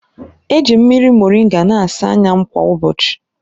Eji m mmiri moringa na-asa anya m kwa ụbọchị.